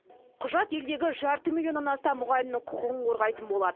құжат елдегі жарты миллионнан астам мұғалімнің құқығын қорғайтын болады